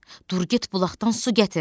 Dur get bulaqdan su gətir.